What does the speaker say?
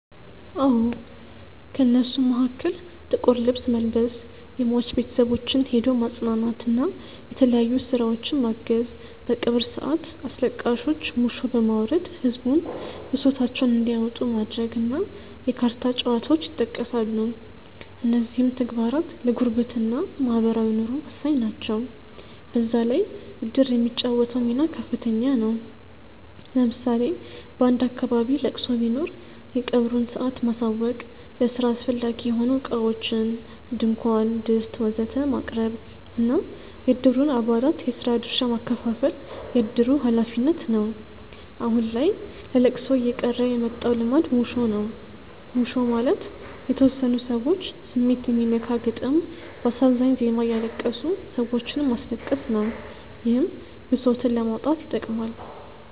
አዎ። ከእነሱም መሀከል ጥቁር ልብስ መልበስ፣ የሟች ቤተሰቦችን ሄዶ ማፅናናት እና የተለያዩ ስራዎችን ማገዝ፣ በቀብር ሰአት አስለቃሾች ሙሾ በማውረድ ህዝቡን ብሶታቸውን እንዲያወጡ ማድረግ እና የካርታ ጨዋታዎች ይጠቀሳሉ። እነዚህም ተግባራት ለጉርብትና (ማህበራዊ ኑሮ) ወሳኝ ናቸው። በዛ ላይ እድር የሚጫወተው ሚና ከፍተኛ ነው። ለምሳሌ በአንድ አካባቢ ለቅሶ ቢኖር የቀብሩን ሰአት ማሳወቅ፣ ለስራ አስፈላጊ የሆኑ እቃዎችን (ድንኳን፣ ድስት ወዘተ...) ማቅረብ እና የእድሩን አባላት የስራ ድርሻ ማከፋፈል የእድሩ ሀላፊነት ነው። አሁን ላይ ለለቅሶ እየቀረ የመጣው ልማድ ሙሾ ነው። ሙሾ ማለት የተወሰኑ ሰዎች ስሜት የሚነካ ግጥም በአሳዛኝ ዜማ እያለቀሱ ሰዎችንም ማስለቀስ ነው። ይህም ብሶትን ለማውጣት ይጠቅማል።